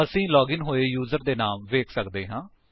ਅਸੀ ਲਾਗਿਨ ਹੋਏ ਯੂਜਰਸ ਦੇ ਨਾਮ ਵੇਖ ਸਕਦੇ ਹਾਂ